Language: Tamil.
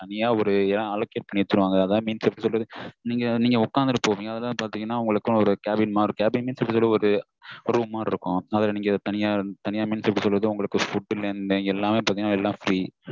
தனியா ஒரு இடம் allocate பண்ணி வச்சுடுவாங்க அதான் means எப்டி சொல்றது நீங்க உக்காந்துட்டு போவீங்க அதான் பாத்தீங்கனா உங்களுக்கு ஒரு cabin மாதிரி இருக்கும் cabin நா எப்டி சொல்றது ஒரு குடுவை மாதிரி இருக்கும் அதுல நீங்க தனியா means எப்டி சொல்றது food ல இருந்து எல்லாம் free எல்லாமே free